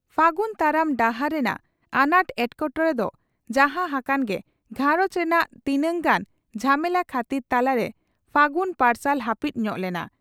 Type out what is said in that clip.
ᱯᱷᱟᱹᱜᱩᱱ ᱛᱟᱲᱟᱢ ᱰᱟᱦᱟᱨ ᱨᱮᱱᱟᱜ ᱟᱱᱟᱴ ᱮᱴᱠᱮᱴᱚᱬᱮ ᱫᱚ ᱡᱟᱦᱟᱸ ᱦᱟᱠᱟᱱ ᱜᱮ ᱜᱷᱟᱨᱚᱸᱡᱽ ᱨᱮᱱᱟᱜ ᱛᱤᱱᱟᱝ ᱜᱟᱱ ᱡᱷᱟᱢᱮᱞᱟ ᱠᱷᱟᱹᱛᱤᱨ ᱛᱟᱞᱟᱨᱮ ᱯᱷᱟᱹᱜᱩᱱ ᱯᱟᱨᱥᱟᱞ ᱦᱟᱹᱯᱤᱫ ᱧᱚᱜ ᱞᱮᱱᱟ ᱾